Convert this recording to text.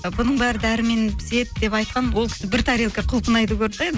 ы бұның бәрі дәрімен піседі деп айтқан ол кісі бір тарелка құлпынайды